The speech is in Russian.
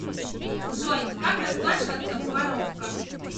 джой как расплачиваться в марокко